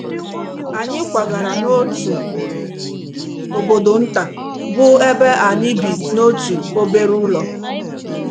Anyị kwagara n’otu obodo nta, bụ́ ebe anyị bi n’otu obere ụlọ.